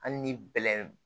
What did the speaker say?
Hali ni bɛlɛn